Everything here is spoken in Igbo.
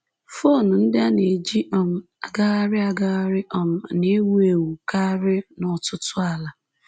Fon ndị a na-eji um agagharị agagharị um na-ewu ewu karị n’ọtụtụ ala